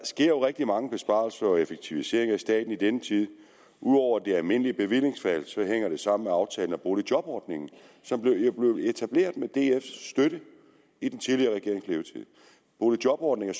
sker rigtig mange besparelser og effektiviseringer i staten i denne tid ud over det almindelige bevillingsfald hænger det sammen med aftalen om boligjobordningen som blev etableret med dfs støtte i den tidligere regerings levetid boligjobordningen